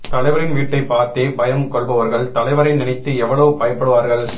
தலைவரின் வீட்டை பார்த்தே பயம் கொள்பவர்கள் தலைவரை நினைத்து எவ்வளவு பயப்படுவார்கள்